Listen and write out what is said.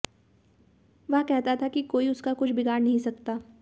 वह कहता था कि कोई उसका कुछ बिगाड़ नहीं सकता